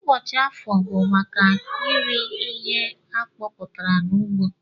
Ụbọchi afọọ bu maka ire ihe akọputara na ugbo.